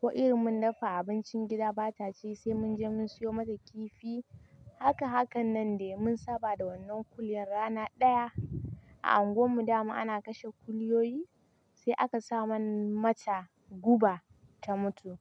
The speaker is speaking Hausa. ko irin mun dafa abincin gida bata ci, sai mun je mun siyo mata kifi. Haka, hakan nan ne mun saba da wannan kuliyan rana daya a unguwar mu damu ana kashe kuliyoyi, sai aka saman mata guba ta mutu.